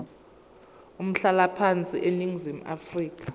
umhlalaphansi eningizimu afrika